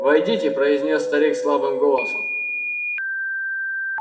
войдите произнёс старик слабым голосом